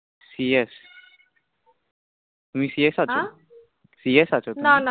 CS তুমি CS আছো? হাঁ CS আছো তুমি? না না